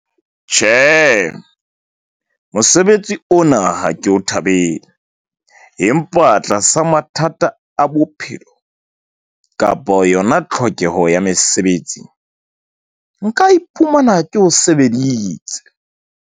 Tjhe, mosebetsi ona ha ke o thabele empa tlasa mathata a bophelo kapo yona tlhokeho ya mesebetsi. Nka iphumana ke o sebeditse.